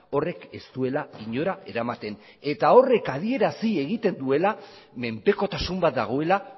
horrek ez duela inora eramaten eta horrek adierazi egiten duela menpekotasun bat dagoela